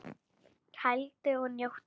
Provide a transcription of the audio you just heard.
Kældu og njóttu!